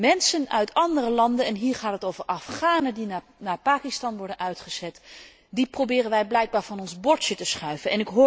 Mensen uit andere landen en hier gaat het om Afghanen die naar Pakistan worden uitgezet proberen wij blijkbaar van ons bordje te schuiven.